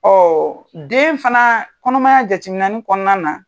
Ɔɔɔ den fana, kɔnɔmaya jate minɛnni kɔnɔna na.